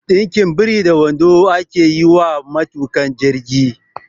Ɗinkin biri da wando ake yi wa kayan aikin matuƙa jirgi